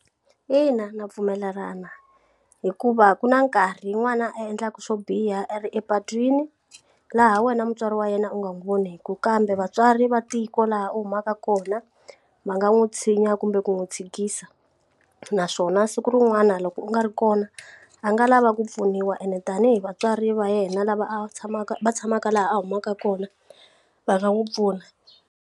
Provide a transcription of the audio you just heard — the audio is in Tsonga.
Ina ndza pfumelelana hikuva ku na nkarhi yin'wana a endlaka swo biha era epatwini laha wena mutswari wa yena u nga n'wi voniku kambe vatswari va tiko laha u humaka kona va nga n'wi nwi tshinya kumbe ku n'wi chikisa naswona siku rin'wana loko u nga ri kona a nga lava ku pfuniwa ene tanihi vatswari va yena lava a tshamaka va tshamaka laha a humaka kona va nga n'wi pfuna.